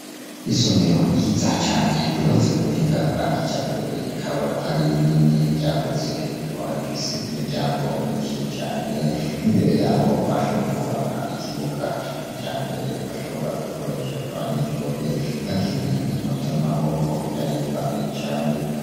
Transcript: Isomero ryiza cane ryubatse ku buhinga bwa kijambere rikaba ari rinini ryagutse rikaba rifise imiryango myinshi cane imbere yaho bashoboye kwubaka ikibuga ca kijambere bashobora gukoresha abanyeshuri bakina inkino zamaboko birahimbaye cane.